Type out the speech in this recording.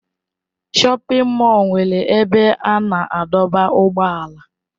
Shọpin mọll nwere ebe a na-adọba ụgbọala.